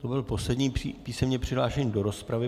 To byl poslední písemně přihlášený do rozpravy.